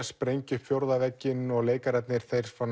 sprengja upp fjórða vegginn og leikararnir